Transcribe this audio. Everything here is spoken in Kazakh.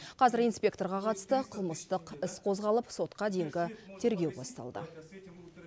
қазір инспекторға қатысты қылмыстық іс қозғалып сотқа дейінгі тергеу басталды